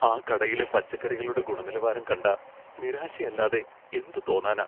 ആ കടയിലെ പച്ചക്കറികളുടെ ഗുണനിലവാരം കണ്ടാ നിരാശയല്ലാതെ എന്ത് തോന്നാനാ.